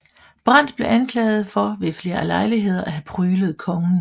Brandt blev anklaget for ved flere lejligheder at have pryglet kongen